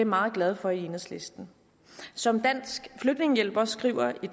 meget glade for i enhedslisten som dansk flygtningehjælp også skriver i